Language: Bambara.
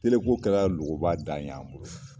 ko kɛra logoba dan y'an bolo.